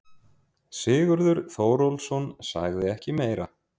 Sigurður Þórólfsson sagði ekki meira.